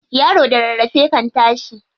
Yaro da rarrafe kan tashi.